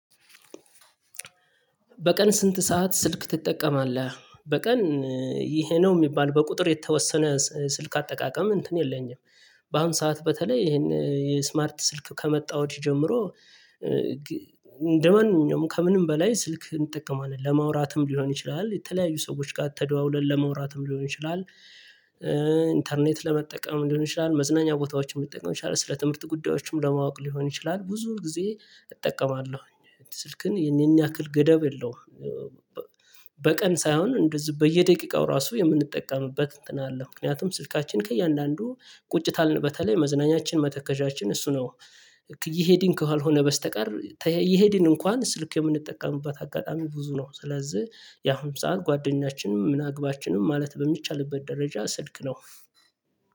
በቀን ስንት ሰዓት ስልክ ትጠቀማለህ? በቀን ይሄ ነው የሚባል በቁጥር የተወሰነ ስልክ አጠቃቀም እንትን የለኝም። በአሁን ሰዓት በተለይ ይሄን የስማርት ስልክ ከመጣ ወዲህ ጀምሮ እንደማንኛውም ከምንም በላይ ስልክ እንጠቀማለን ለማውራትም ሊሆን ይችላል የተለያዩ ሰዎች ጋር ተደዋውለን ለመውራትም ሊሆን ይችላል። ኢንተርኔት ለመጠቀምም ሊሆን ይችላል መዝናኛ ቦታዎች መጠቀም ይችላል ስለ ትምህርት ጉዳዮችም ለማወቅ ሊሆን ይችላል ብዙ ጊዜ እጠቀማለሁኝ ስልክን የኔን ያክል ገደብ የለውም። በቀን ሳይሆን እንደዚህ በየደቂቃው ራሱ የምንጠቀምበት እንትን አለ ምክንያቱም ስልካችን ከእያንዳንዱ ቁጭ ታልን በተለይ መዝናኛችን መተከዣችን እሱ ነው። እየሄድን ካልሆነ በስተቀር እየሄድን እንኳን ስልክ የምንጠቀምበት አጋጣሚ ብዙ ነው። ስለዚህ ያሁን ሰዓት ጓደኛችንም ምን አግባችንም ማለት በሚቻልበት ደረጃ ስልክ ነው።